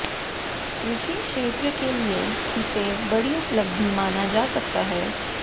कृषि क्षेत्र के लिए इसे बड़ी उपलब्धि माना जा सकता है